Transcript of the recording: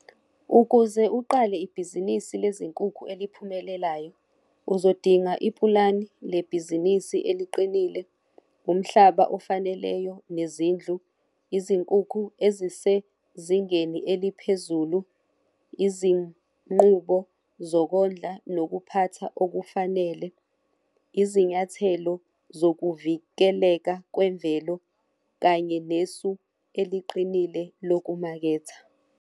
Ukuze uqale ibhizinisi lezinkukhu aliphumelelayo, uzodinga ipulani lebhizinisi eliqinile, umhlaba ofaneleyo nezindlu, izinkukhu ezisezingeni eliphezulu, izinqubo zokondla nokuphatha okufanele izinyathelo zokuvikeleka kwemvelo kanye nesu eliqinile lokumaketha.